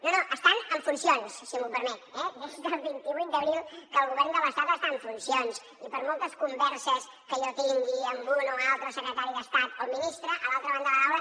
no no estan en funcions si m’ho permet eh des del vint vuit d’abril que el govern de l’estat està en funcions i per moltes converses que jo tingui amb un o altre secretari d’estat o ministre a l’altra banda de la taula